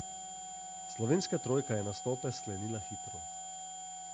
Slovenska trojka je nastope sklenila hitro.